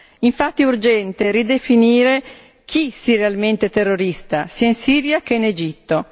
È infatti urgente ridefinire chi sia realmente terrorista, sia in Siria che in Egitto.